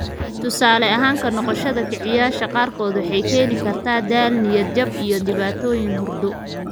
Tusaale ahaan, ka-noqoshada kiciyeyaasha qaarkood waxay keeni kartaa daal, niyad-jab, iyo dhibaatooyin hurdo.